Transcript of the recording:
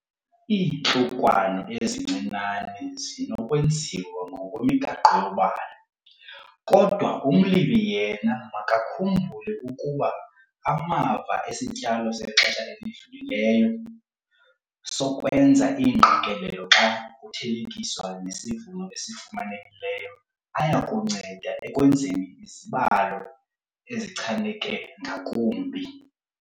Iintlukwano ezincinane zinokwenziwa ngokwemigaqo yobalo, kodwa umlimi yena makakhumbule ukuba amava esityalo sexesha elidlulileyo sokwenza iingqikelelo xa kuthelekiswa nesivuno esifumanekileyo aya kunceda ekwenzeni izibalo ezichaneke ngakumbi.